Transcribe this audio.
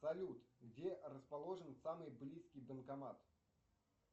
салют где расположен самый близкий банкомат